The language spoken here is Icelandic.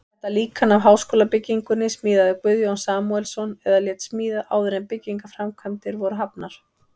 Þetta líkan af háskólabyggingunni smíðaði Guðjón Samúelsson eða lét smíða, áður en byggingarframkvæmdir voru hafnar.